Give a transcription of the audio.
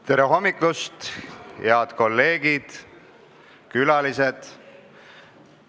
Tere hommikust, head kolleegid ja külalised!